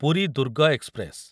Puri Durg express